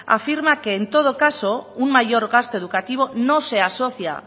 afirma que en todo caso un mayor gasto educativo no se asocia